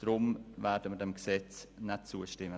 Deshalb werden wir diesem Gesetz so nicht zustimmen.